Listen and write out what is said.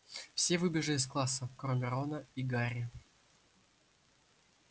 все выбежали из класса кроме рона и гарри